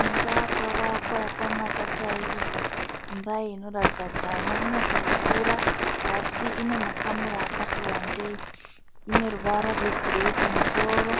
Imba yakavakwa yakanaka chaizvo. Imba iyi inoratidza kuti haina kunyatsokura asi ine makamuri akati wandei. Ine ruvara rwegireyi kumusoro